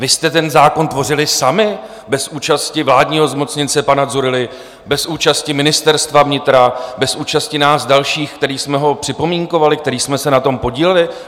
Vy jste ten zákon tvořili sami bez účasti vládního zmocněnce pana Dzurilly, bez účasti Ministerstva vnitra, bez účasti nás dalších, kteří jsme ho připomínkovali, kteří jsme se na tom podíleli?